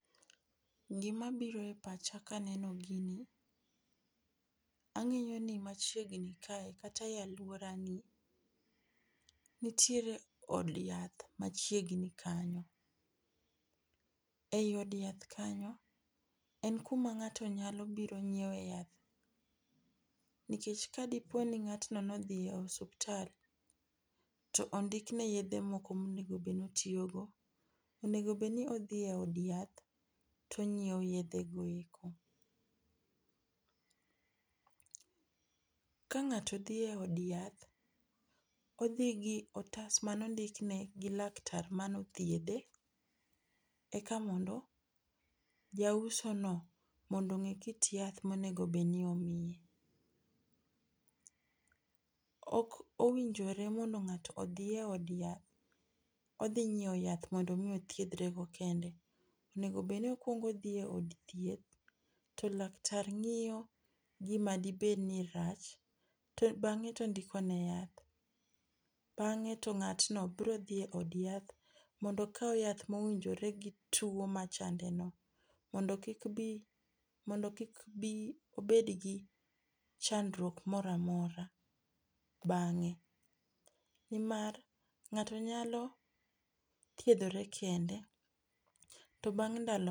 Gi ma biro e pacha ka aneno gini, ang'iyo ni ka chiegni kata e aluora ni nitiere od yath ma chiegni kanyo. E od yath kanyo en ku ma ng'ato nyalo biro nyiewe yath, nikech ka di po ni ng'atno ne odhi e osiptal to ondikone yedhe moko ma onego bed ni otiyo go to onego bed ni odhi e od yath to ongiwo yedhe go eko. Ka ng'ato dhi e od yath, odhi gi kalastas ma ne ondikne gi laktar ma ne othiedhe eka mondo ja uso no mondo onge kit yath ma onego bed ni omiye. Ok owinjore mondo ng'ato odhi e od yath odhi ng'iewo yath ma othiedhore go kende. Onego bed ni okuongo odhi e od thieth to laktar ng'iyo gi ma dibed ni rach to bang'e to ondiko ne yath. Bang'e to ngatno biro dhi e od yath mondo okaw yath ma owinjore gi two ma chande no mondo ki bi mondo kik obi obed gi chandruok moro amora bange .Ni mar ng'ato nyalo thieroe kende to bang ndalo ma.